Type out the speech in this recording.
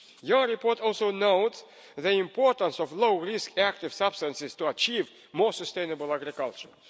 element. Your report also notes the importance of low-risk active substances to achieve more sustainable agriculture.